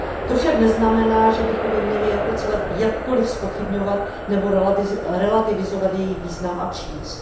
To však neznamená, že bychom ji měli jako celek jakkoliv zpochybňovat nebo relativizovat její význam a přínos.